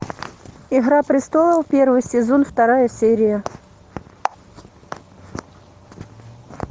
игра престолов первый сезон вторая серия